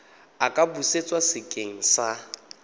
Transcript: a ka busetswa sekeng sa